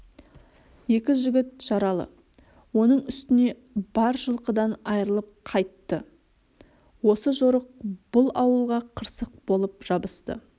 екі жігіт жаралы оның үстіне бар жылқыдан айрылып қайтты осы жорық бұл ауылға қырсық болып жабысты